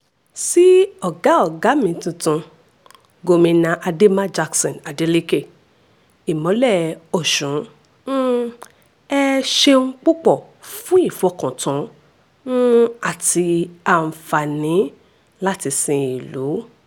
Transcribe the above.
sí ọ̀gá ọ̀gá mi tuntun gomina ademma jackson adeleke ìmọ́lẹ̀ ọ̀ṣún um ẹ̀ ṣeun púpọ̀ fún ìfọkàntàn um àti àǹfààní láti sin ìlú